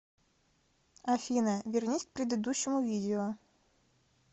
афина вернись к предыдущему видео